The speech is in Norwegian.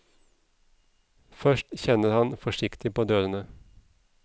Først kjenner han forsiktig på dørene.